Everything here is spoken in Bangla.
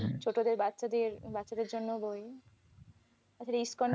ছোটদের বাচ্চাদের বাচ্চাদের জন্য বই, এছাড়া scandal র